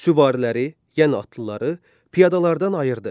Süvariləri, yəni atlıları piyadalardan ayırdı.